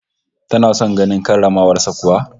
Tana son ganin karramawar sa kuwa?